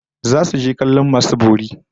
Zasu je kallon masu bori